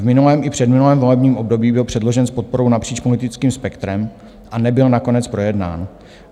V minulém i předminulém volebním období byl předložen s podporou napříč politickým spektrem a nebyl nakonec projednán.